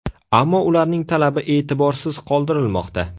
Ammo ularning talabi e’tiborsiz qoldirilmoqda.